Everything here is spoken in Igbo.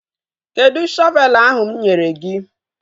Kedụ shọvelu ahụ mụ nyere gị?